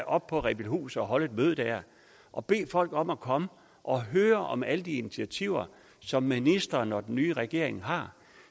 op på rebildhus og holde et møde der og bede folk om at komme og høre om alle de initiativer som ministeren og den nye regering har